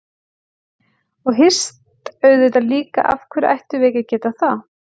Og hist auðvitað líka, af hverju ættum við ekki að geta það?